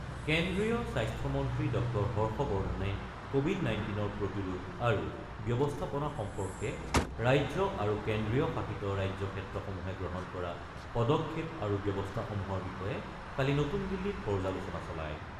কেন্দ্ৰীয় স্বাস্থ্য মন্ত্ৰী ড হৰ্ষবৰ্ধণে ক'ভিড-নাইনটিনৰ প্ৰতিৰোধ আৰু ব্যৱস্থাপনা সম্পৰ্কে ৰাজ্য আৰু কেন্দ্ৰীয় শাসিত ৰাজ্য ক্ষেত্ৰসমূহে গ্ৰহণ কৰা পদক্ষেপ আৰু ব্যৱস্থাসমূহৰ বিষয়ে কালি নতুন দিল্লীত পৰ্যালোচনা চলায়।